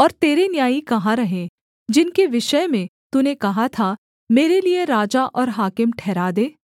और तेरे न्यायी कहाँ रहे जिनके विषय में तूने कहा था मेरे लिये राजा और हाकिम ठहरा दे